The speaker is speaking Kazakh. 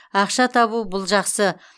ақша табу бұл жақсы